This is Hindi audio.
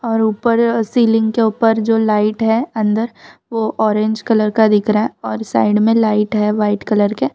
और ऊपर सीलिंग के ऊपर जो लाइट है अंदर वो ऑरेंज कलर का दिख रहा है और साइड में लाइट है वाइट कलर के।